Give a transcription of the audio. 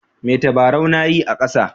Me tabaraun na yi a kasa.